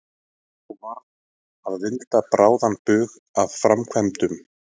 Nú varð að vinda bráðan bug að framkvæmdum.